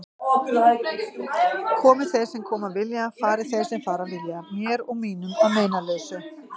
Komi þeir sem koma vilja, fari þeir sem fara vilja, mér og mínum að meinalausu.